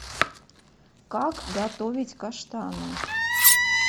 как готовить каштаны